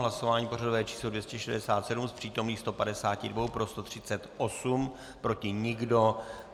Hlasování pořadové číslo 267 z přítomných 152 pro 138, proti nikdo.